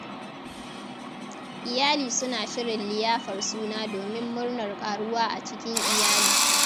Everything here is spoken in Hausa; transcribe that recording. Iyali suna shirin liyafar suna domin murnar ƙaruwa a cikin iyali.